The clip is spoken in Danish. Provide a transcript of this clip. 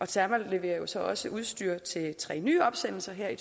terma leverer jo så også udstyr til tre nye opsendelser her i